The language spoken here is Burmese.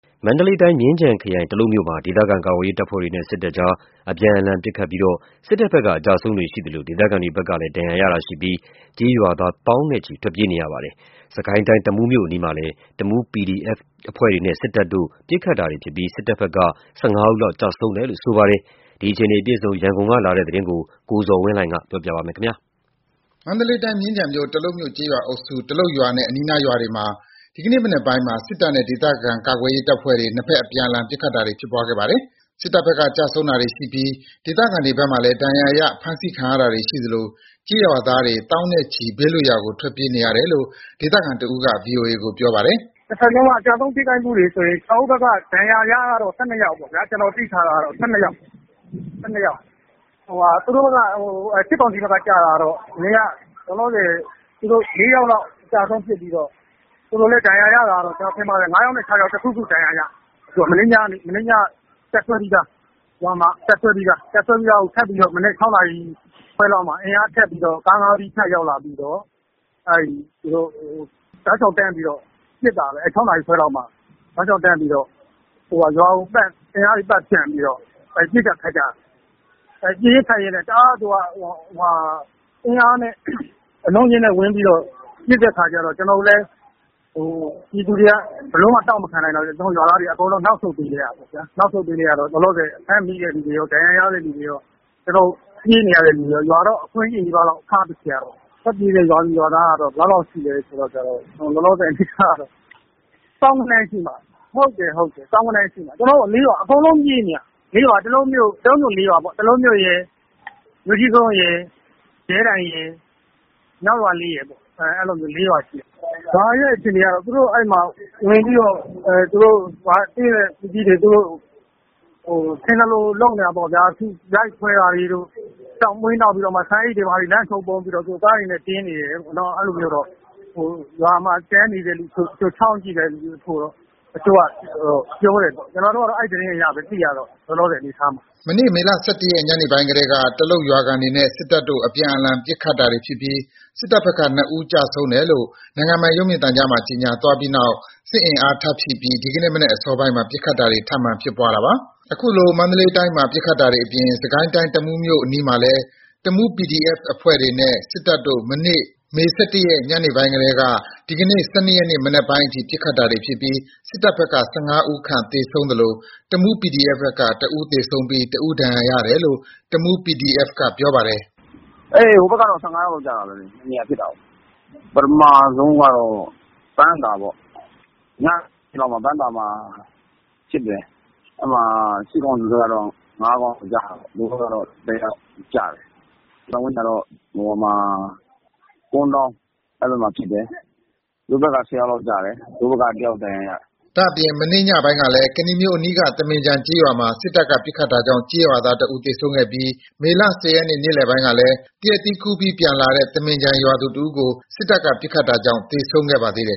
မန္တလေးတိုင်း၊ မြင်းခြံခရိုင် တလုပ်မြို့မှာ ဒေသခံကာကွယ်ရေးတပ်ဖွဲ့တွေနဲ့ စစ်တပ်တို့ အပြန်အလှန် ပစ်ခတ်တာတွေဖြစ်ပွားလို့ စစ်တပ်ဘက်က အကျအဆုံးတွေ ရှိသလို ဒေသခံတွေဘက်ကလည်း ဒဏ်ရာရတာတွေရှိပြီး ကျေးရွာသားတွေ သောင်းနဲ့ချီထွက်ပြေးနေရပါတယ်။ စစ်ကိုင်းတိုင်း၊ တမူးမြို့အနီးမှာလည်း တမူး PDF အဖွဲ့တွေနဲ့ စစ်တပ်တို့ ပစ်ခတ်တာတွေ ဖြစ်ပွားပြီး စစ်တပ်ဘက်က ၁၅ ဦးခန့် ကျဆုံးတယ်လို့ ဆိုပါတယ်။ ဒီအခြေအနေ အပြည့်အစုံ ရန်ကုန်ကလာတဲ့ သတင်းကို ကိုဇော်ဝင်းလှိုင်က ပြောပြပါမယ်။ မန္တလေးတိုင်း၊ မြင်းခြံခရိုင် တလုပ်မြို့ ကျေးရွာအုပ်စု တလုပ်ရွာနဲ့ အနီးနားရွာတွေမှာ ဒီကနေ့ မနက်ပိုင်းမှာ စစ်တပ်နဲ့ ဒေသခံကာကွယ်ရေးအဖွဲ့တွေ ၂ ဘက် အပြန်အလှန် ပစ်ခတ်တာတွေ ဖြစ်ပွားခဲ့တာပါ။ စစ်တပ်ဘက်က ကျဆုံးတာတွေ ရှိပြီး ဒေသခံတွေဘက်မှလည်း ဒဏ်ရာရ၊ ဖမ်းဆီးခံရတာတွေ ရှိသလို ကျေးရွာသားတွေ သောင်းနဲ့ချီ ဘေးလွတ်ရာကို ထွက်ပြေးနေရတယ်လို့ ဒေသခံတဦးက ဗွီအိုအေကို ပြောပါတယ်။ “၂ ဘက်လုံးက ကျဆုံးထိခိုက်မှုတွေဆိုရင် ကျနော်တို့ဘက်က ဒဏ်ရာရကတော့ ၁၂ ယောက်ပေါ့ဗျာ။ ကျနော် သိထားတာက ၁၂ ယောက်၊ စစ်ကောင်စီဘက်က ကျတာတော့ လောလောဆယ် ၄ ယောက်လောက် အကျအဆုံးဖြစ်ပြီးတော့ သူတို့လည်း ကျနော်ထင်ပါတယ် ၅ ယောက်နဲ့ ၆ ယောက် တခုခု ဒဏ်ရာရတယ်။ မနေ့ညက တပ်စွဲပြီးသား တပ်စွဲပြီးသားကို မနက် ၆ နာရီခွဲလောက်မှာ ကား ၅ စီးနဲ့ အင်အား ထပ်ရောက်လာတယ်။ ရောက်လာပြီးတော့ တောက်လျှောက်တန်းပြီး ပစ်တာပဲ ၆ နာရီခွဲလောက်မှာ ရွာကိုပတ်၊ အင်အားတွေ ပတ်ဖြန့်ပြီးတော့ ပစ်ကျ၊ ခတ်ကျ... ပစ်ရင်း၊ ခတ်ရင်းနဲ့ တအားတွေ အင်အားနဲ့ အလုံးနဲ့အရင်းနဲ့ ပစ်တဲ့အခါကျတော့ ကျနော်တို့လည်း ပြည်သူတွေက ဘယ်လိုမှ တောင့်မခံနိုင်တော့ ကျနော်တို့ ရွာသားတွေ အကုန်နောက်ဆုတ်ပေးလိုက်ရတာပေါ့။ လောလောဆယ် ဖမ်းမိတဲ့သူတွေကော ဒဏ်ရာရတဲ့ သူတွေရော၊ ပြေးနေရတဲ့သူတွေရော ရွာကြီးလည်း အခွံ့ကြီးနီးပါးထားခဲ့ရတာပေါ့။ ထွက်ပြေးတဲ့ ရွာသူ၊ ရွာသားက ဘယ်လောက်လောက်ရှိလဲဆိုတော့ သောင်းဂဏန်းလောက်ရှိတယ်။ သောင်းဂဏန်းလောက်ရှိတယ်။ ကျနော်တို့ ၄ ရွာ အကုန်ပြေးနေရတာ။ ၄ ရွာက တလုပ်မြို့ ၄ ရွာပေါ့... တလုပ်မြို့ရယ်၊ မြို့ကြီးကုန်းရယ်၊ ရဲတိုင်ရယ်၊ မြောက်ရွာလေးရယ်ပေါ့ အဲ့ဒီလို ၄ ရွာရှိတယ်။ ရွာရဲ့အခြေအနေက သူတို့ဝင်ပြီးတော့ ရွာကို ထင်သလို လုပ်နေတာပေါ့ဗျာ။ ရိုက်ခွဲတာတွေတို့ ဆန်အိတ်တွေ၊ လမ်းပေါ် ပုံပြီးတော့ ကားတွေနဲ့တင်နေတယ်လို့။ အဲ့ဒီလိုမျိုးတော့ ရွာမှာ ကျန်နေတဲ့သူ ချောင်းကြည့်တဲ့သူတချို့က ပြောတယ်။ ကျနော်တို့က အဲ့ဒီသတင်းအရပဲ လောလောဆယ် သိရတာ။” မနေ့ မေ ၁၁ ရက် ညနေပိုင်းကတည်းက တလုတ်ရွာခံတွေနဲ့ စစ်တပ်တို့ အပြန်အလှန် ပစ်ခတ်တာတွေဖြစ်ပြီး စစ်တပ်ဘက်က ၂ ဦး ကျဆုံးတယ်လို့ နိုင်ငံပိုင်ရုပ်မြင်သံကြားမှာ ကြေငြာသွားပြီးနောက် စစ်အင်အား ထပ်ဖြည့်တင်းပြီး ဒီကနေ့ မနက်အစောပိုင်းမှာ ပစ်ခတ်တာတွေ ထပ်မံဖြစ်ပွားတာပါ။ အခုလို မန္တလေးတိုင်းမှာ ပစ်ခတ်တာတွေအပြင် စစ်ကိုင်းတိုင်း၊ တမူးမြို့အနီးမှာလည်း တမူး PDF အဖွဲ့တွေနဲ့ စစ်တပ်တို့ မနေ့ မေ ၁၁ ရက် ညပိုင်းကတည်းက ဒီကနေ့ ၁၂ ရက် မနက်ပိုင်းအထိ ပစ်ခတ်တာတွေဖြစ်ပြီး စစ်တပ်ဘက်က ၁၅ ဦးခန့် သေဆုံးသလို တမူး PDF ဘက်က ၁ ဦးသေဆုံးပြီး ၁ ဦး ဒဏ်ရာရတယ်လို့ တမူး PDF က ပြောပါတယ်။ “ဟိုဘက်က ၁၅ ယောက်လောက်ကျတယ်။ ၂ နေရာဖြစ်တာကို ပထမဆုံးက ပန်းသာပေါ့။ ညမှာ ပန်းသာမှာ ဖြစ်တယ်။ အဲ့ဒီမှာ စစ်ကောင်စီဘက်က ၅ ကောင်ကျတာပေါ့။ တို့ဘက်ကတော့ ၁ ယောက်ကျတယ်။ နောက်ပိုင်းကျတော့ ကွန်းတောင်းမှာ ဖြစ်တယ်။ သူတို့ဘက်က ၁၀ ယောက်လောက်ကျတယ်။ တို့ဘက် ၁ ယောက် ဒဏ်ရာရတယ်။” ဒါ့အပြင် မနေ့ညပိုင်းကလည်း ကနီမြို့အနီးက သမင်ခြံကျေးရွာမှာ စစ်တပ်က ပစ်ခတ်တာကြောင့် ကျေးရွာသား ၁ ဦးသေဆုံးခဲ့ပြီး မေ ၁၀ ရက်နေ့လယ်ပိုင်းကလည်း သရက်သီးခူးပြီး ပြန်လာတဲ့ သမင်ခြံရွာသူ တဦးကို စစ်တပ်က ပစ်ခတ်တာကြောင့် သေဆုံးခဲ့ပါသေးတယ်